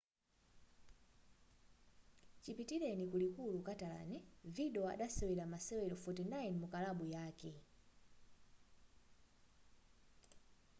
chipitileni ku likulu catalan vidal adasewera masewero 49 mukalabu yake